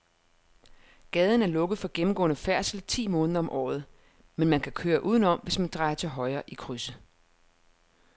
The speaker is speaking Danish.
Gaden er lukket for gennemgående færdsel ti måneder om året, men man kan køre udenom, hvis man drejer til højre i krydset.